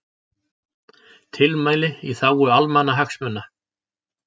Tilmæli í þágu almannahagsmuna